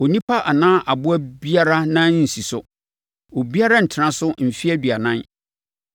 Onipa anaa aboa biara nan rensi so, obiara rentena so mfeɛ aduanan.